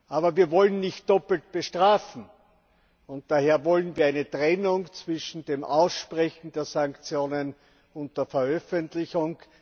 Aber wir wollen nicht doppelt bestrafen. Daher wollen wir eine Trennung zwischen dem Aussprechen der Sanktionen und der Veröffentlichung.